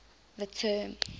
the term